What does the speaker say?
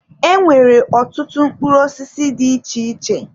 E nwere ọtụtụ mkpụrụ osisi dị iche iche.